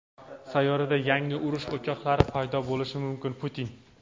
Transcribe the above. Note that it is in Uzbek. Sayyorada yangi urush o‘choqlari paydo bo‘lishi mumkin – Putin.